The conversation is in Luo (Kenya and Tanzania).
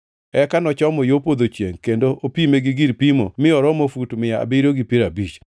Eka nochomo yo podho chiengʼ kendo opime gi gir pimo mi noromo fut mia abiriyo gi piero abich.